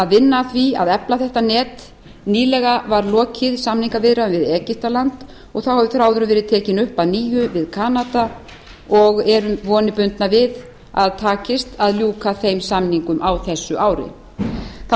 vinna að því að efla þetta net nýlega var lokið samningaviðræðum við egyptaland og þá hefur þráðurinn verið tekinn upp að nýju í viðræðum við kanada og eru vonir bundnar við að takist að ljúka þeim samningum á þessu ári þá